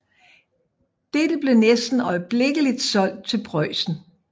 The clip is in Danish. Dette blev næsten øjeblikkeligt solgt til Preussen